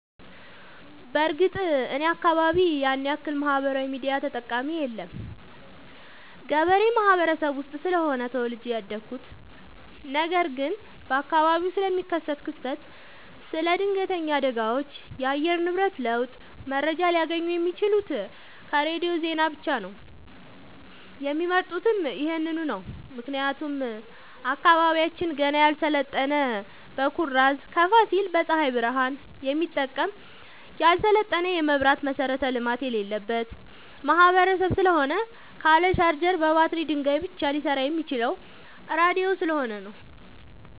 በርግጥ እኔ አካባቢ ያንያክል ማህበራዊ ሚዲያ ተጠቀሚ የለም ገበሬ ማህበረሰብ ውስጥ ስለሆነ ተወልጄ ያደኩት ነገር ግን በአካባቢው ስለሚከሰት ክስተት ስለ ድነገተኛ አደጋዎች የአየር ንብረት ለውጥ መረጃ ሊያገኙ የሚችሉት ከሬዲዮ ዜና ብቻ ነው የሚመርጡትም ይህንኑ ነው ምክንያቱም አካባቢያችን ገና ያልሰለጠነ በኩራዝ ከፋሲል በፀሀይ ብረሃን የሚጠቀም ያልሰለጠነ የመብራት መሠረተ ልማት የሌለበት ማህበረሰብ ስለሆነ ካለ ቻርጀር በባትሪ ድንጋይ ብቻ ሊሰራ የሚችለው ራዲዮ ስለሆነ ነው።